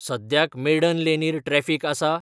सद्याक मेडन लेनीर ट्रॅफिक आसा?